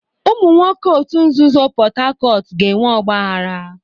Ụmụ nwoke òtù nzuzo Port Harcourt ga-enwe ọgbaghara.